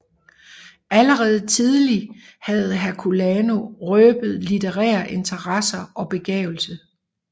Allerede tidlig havde Herculano røbet litterære interesser og begavelse